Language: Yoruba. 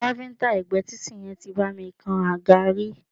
Káfíńńtà ẹ̀gbé títì yẹn tí bá mi kan àga rí.